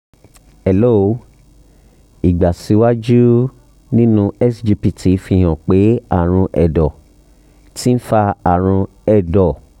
hello ìgbàsíwájú nínú sgpt fi hàn pé àrùn ẹ̀dọ̀ ti ń fa àrùn ẹ̀dọ̀